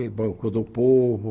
E Banco do Povo.